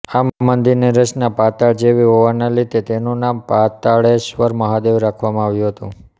આ મંદિરની રચના પાતાળ જેવી હોવાને લીધે તેનું નામ પાતાળેશ્વર મહાદેવ રાખવામાં આવ્યું હતું